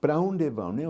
Para onde vão?